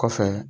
Kɔfɛ